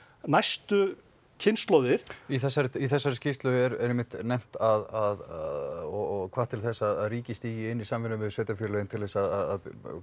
næstu kynslóðir í þessari í þessari skýrslu er einmitt nefnt að og hvatt til þess að ríkið stígi inní í samvinnu við sveitafélögin til að